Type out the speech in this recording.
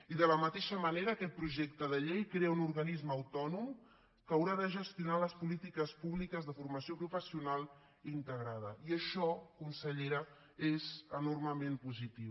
i de la mateixa manera aquest projecte de llei crea un organisme autònom que haurà de gestionar les polítiques públiques de formació professional integrada i això consellera és enormement positiu